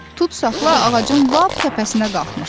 Tutsaxla ağacın lap təpəsinə qalxmışdı.